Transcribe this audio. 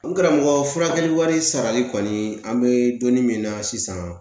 N karamɔgɔ furakɛli wari sarali kɔni an bɛ donni min na sisan